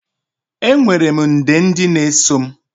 Enwere m nde ndị na-eso m.